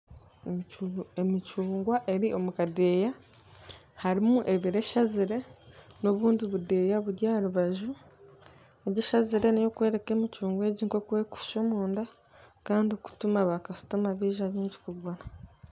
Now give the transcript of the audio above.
Emicungwa eri omu kadeeya harimu ebaire eshazire n'obundi budeeya buri aha rubaju egi eshazire n'ey'okworeka emicungwa egi nk'okwerikushusha omunda kandi kutuma baakasitoma baija baingi kugura